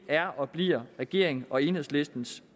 er og bliver regeringens og enhedslistens